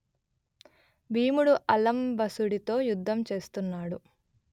భీముడు అలంబసుడితో యుద్ధం చేస్తున్నాడు